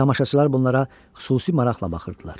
Tamaşaçılar bunlara xüsusi maraqla baxırdılar.